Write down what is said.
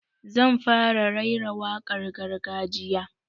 Zan fara raira wakar gargajiya